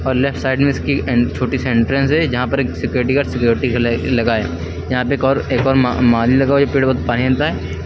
और left side में इसकी एन छोटी सी एंट्रेंस है जहां पर एक सिक्युरिटी गार्ड सिक्युरिटी के लै लगा है। यहां पे एक और एक और मा माली लगा हुआ है जो पेड़ पानी देता है।